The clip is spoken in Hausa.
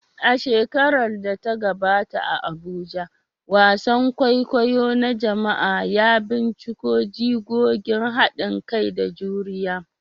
A shekarar da ta gabata a Abuja, wasan kwaikwayo na jama'a ya binciko jigogin hadin kai da juriya